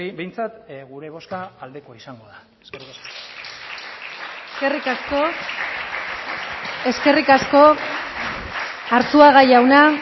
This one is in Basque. behintzat gure bozka aldekoa izango da eskerrik asko eskerrik asko arzuaga jauna